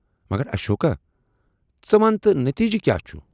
مگر اشوکا ژٕ وَن تہٕ نتیجہ کیاہ چھُس۔